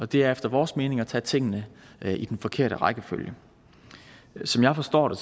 det er efter vores mening at tage tingene i den forkerte rækkefølge som jeg forstår det